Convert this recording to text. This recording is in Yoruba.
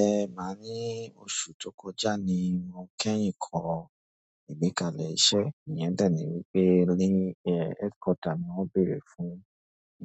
Ẹ máa ní oṣù tó kọjá ni mo kẹ́yìn kọ ìgbékalẹ̀ iṣẹ́, ìyẹn tàbí wípé LinkedIn Headquarter ni wọ́n bèrè fún